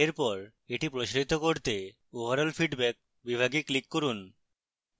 এরপর এটি প্রসারিত করতে overall feedback বিভাগে click করুন